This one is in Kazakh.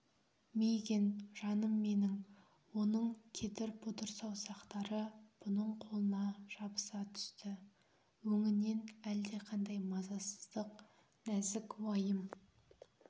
мигэн жаным менің оның кедір-бұдыр саусақтары бұның қолына жабыса түсті өңінен әлдеқандай мазасыздық нәзік уайым